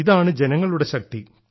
ഇതാണ് ജനങ്ങളുടെ ശക്തി